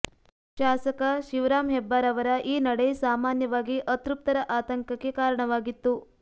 ಶಾಸಕ ಶಿವರಾಂ ಹೆಬ್ಬಾರ್ ಅವರ ಈ ನಡೆ ಸಾಮಾನ್ಯವಾಗಿ ಅತೃಪ್ತರ ಆತಂಕಕ್ಕೆ ಕಾರಣವಾಗಿತ್ತು